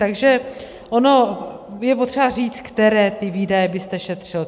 Takže ono je potřeba říct, které ty výdaje byste šetřil.